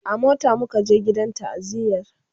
a mota muka je gidan ta'aziyar